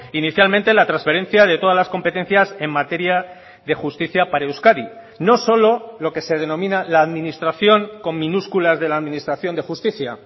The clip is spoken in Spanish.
inicialmente la transferencia de todas las competencias en materia de justicia para euskadi no solo lo que se denomina la administración con minúsculas de la administración de justicia